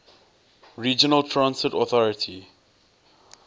regional transit authority